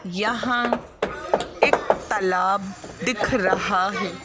यहाँ एक तालाब दिख रहा है।